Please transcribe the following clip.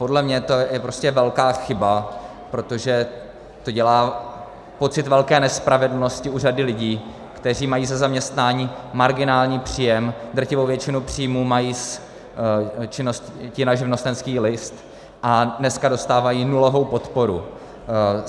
Podle mě to je prostě velká chyba, protože to dělá pocit velké nespravedlnosti u řady lidí, kteří mají ze zaměstnání marginální příjem, drtivou většinu příjmu mají z činnosti na živnostenský list, a dneska dostávají nulovou podporu.